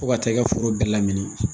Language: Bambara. Fo ka taa i ka foro bɛɛ lamini